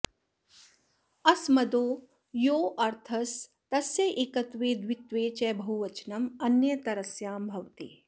अस्मदो यो ऽर्थस् तस्य एकत्वे द्वित्वे च बहुवचनम् अन्यतरस्यां भवति